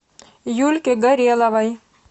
юльке гореловой